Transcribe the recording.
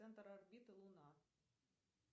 центр орбита луна